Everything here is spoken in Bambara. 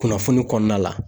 Kunnafoni kɔnɔna la